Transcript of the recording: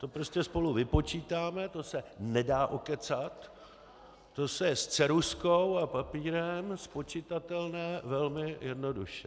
To prostě spolu vypočítáme, to se nedá okecat, to je s ceruzkou a papírem spočitatelné velmi jednoduše.